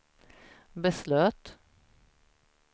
beslöt